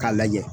K'a lajɛ